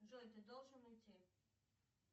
джой ты должен уйти